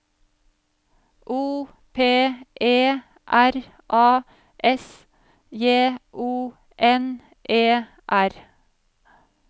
O P E R A S J O N E R